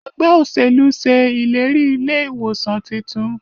Ẹgbẹ́ òṣèlú ṣe ìlérí ilé ìwòsàn títún.